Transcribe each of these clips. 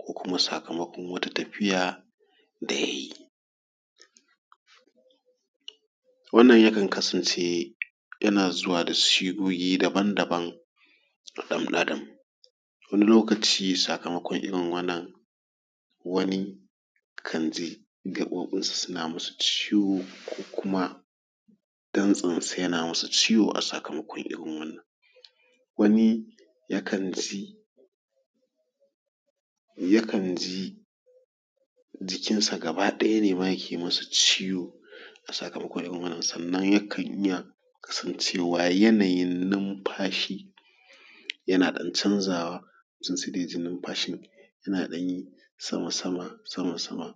ko kuma sakamakon wata tafiya d ya yi. Wannan yakan kasance yana zuwa da sigogi daban-daban ga ɗan Adam, wani lokaci sakamakon irin wannan wani kan ji gaɓoɓinsa suna masa ciwo ko kuma dantsensa yana masa ciwo a sakamakon irn wannan. Wani yakan ji yakan ji jikinsa gaba ɗaya ne ma yake ma sa ciwo a sakamakon irin wannan sannan yakan iya kasancewa yanayin nunfashi yana ɗan canzawa yana ja numfashin yana ɗan yin sama-sama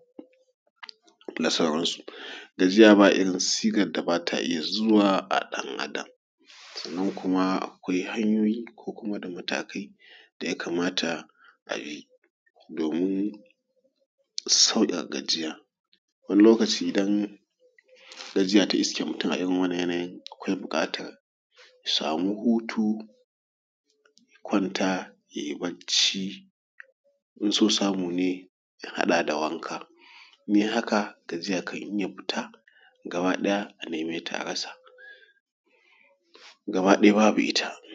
da sauransu. Gajiya bairin sigar da ba ta iya zuwa wa ɗan Adam. Sannan kuma akwai hanyoyi ko kuma da matakai da ya kamata a bi domin sauƙaƙa gajiya wani lokaci idan gajiya ta iske mutum a irin wannan yanayin akwai buƙatar ya samu huti ya kwanta ya yi bacci, in so samu ne ya hada da wanka, in ya yi haka gajiya idan ya fita zai neme ta a rasa, gaba ɗaya babu ita.